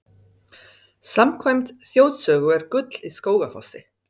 Samkvæmt þjóðsögu er gull í Skógafossi.